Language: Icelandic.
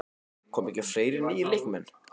Koma ekki fleiri nýir leikmenn?